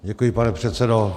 Děkuji, pane předsedo.